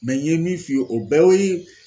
n ye min f'i ye o bɛɛ y'o